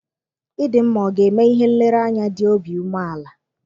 Ịdịmma ọ ga-eme ihe nlereanya dị obi umeala?